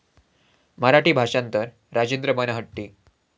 मराठी भाषांतर राजेंद्र बनहट्टी